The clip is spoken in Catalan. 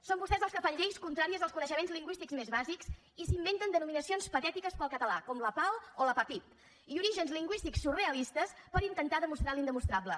són vostès els que fan lleis contràries als coneixements lingüístics més bàsics i s’inventen denominacions patètiques per al català com lapao o lapapyp i orígens lingüístics surrealistes per intentar demostrar l’indemostrable